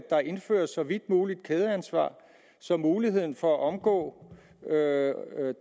indføres så vidt muligt kædeansvar så muligheden for at omgå